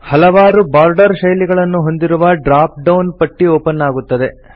ಹಲವಾರು ಬೋರ್ಡರ್ ಶೈಲಿಗಳನ್ನು ಹೊಂದಿರುವ ಡ್ರಾಪ್ ಡೌನ್ ಪಟ್ಟಿ ಓಪನ್ ಆಗುತ್ತದೆ